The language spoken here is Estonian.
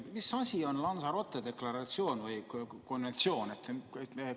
Mis asi on Lanzarote deklaratsioon või konventsioon?